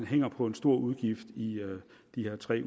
hænger på en stor udgift i den her tre